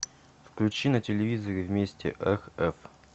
включи на телевизоре вместе рф